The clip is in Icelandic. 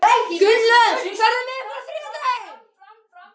Gunnlöð, ferð þú með okkur á þriðjudaginn?